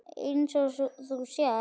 Eins og þú sérð.